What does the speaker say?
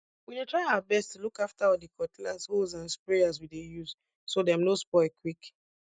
we dey try our best to look after all di cutlass hoes and sprayers we dey use so dem no spoil quick